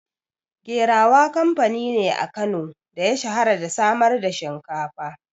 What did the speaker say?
Gerawa kamfani ne a Kano da ya shahara da samar da shinkafa.